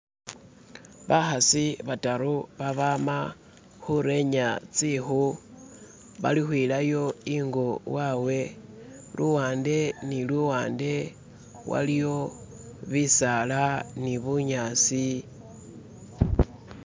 Bakhasi bataru babama khurenya tsikhu balukhwilayo ingo wawe luwande ni luwande waliyo bisaala nibunyaasi